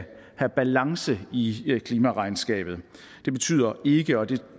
have balance i klimaregnskabet det betyder ikke og det